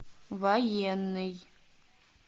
военный